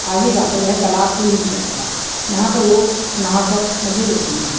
आगे जा कर वह तालाब से मिल जायेगा यहाँ पर लोग नहा कर मज़े लेते है|